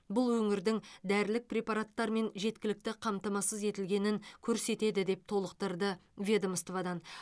бұл өңірдің дәрілік препараттармен жеткілікті қамтамасыз етілгенін көрсетеді деп толықтырды ведомстводан